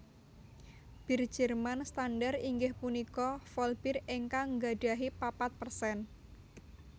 Bir Jerman standar inggih punika Vollbier ingkang nggadahi papat persen